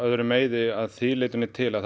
öðrum meiði af því leitinu til að